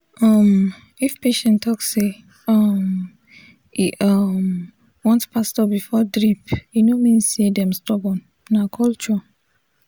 um if patient talk say um e um want pastor before drip e no mean say dem stubborn — na culture.